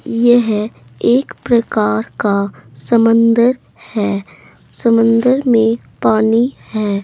यह एक प्रकार का समंदर है समंदर में पानी है।